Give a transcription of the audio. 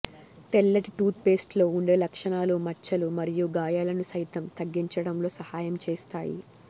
తెల్లటి టూత్ పేస్టులో ఉండే లక్షణాలు మచ్చలు మరియు గాయాలను సైతం తగ్గించడంలో సహాయం చేస్తాయి